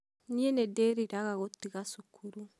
niĩ nĩndĩriraga gũtiga cukuru.